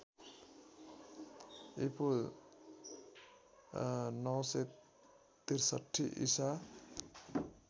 ईपू ९६३ ईसा